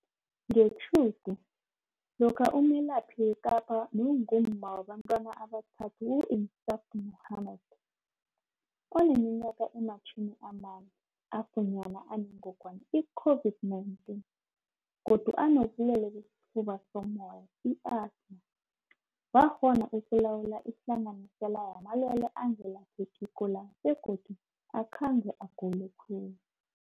Ngetjhudu, lokha umelaphi weKapa nongumma wabantwana abathathu u-Insaaf Mohammed, oneminyaka ema-40, afunyanwa anengongwana i-COVID-19 godu anobulwele besifuba sommoya, i-asthma, wakghona ukulawula ihlanganisela yamalwele angelaphekiko la begodu akhange agule khulu.